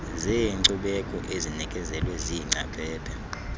zeenkcubeko ezinikezelwe ziingcaphephe